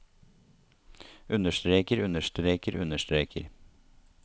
understreker understreker understreker